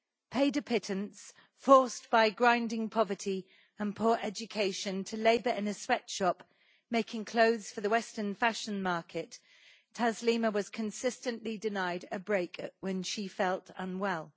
Paid a pittance, forced by grinding poverty and poor education to labour in a sweatshop making clothes for the western fashion market, Taslima was consistently denied a break when she felt unwell.